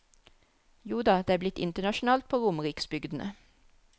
Joda, det er blitt internasjonalt på romeriksbygdene.